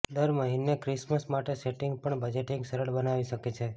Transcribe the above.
દર મહિને ક્રિસમસ માટે સેટિંગ પણ બજેટિંગ સરળ બનાવી શકે છે